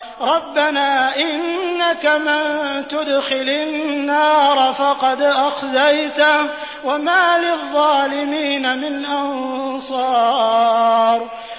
رَبَّنَا إِنَّكَ مَن تُدْخِلِ النَّارَ فَقَدْ أَخْزَيْتَهُ ۖ وَمَا لِلظَّالِمِينَ مِنْ أَنصَارٍ